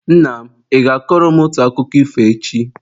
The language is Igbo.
Nna m, ị ga-akọrọ m otu akụkọ ifo echi?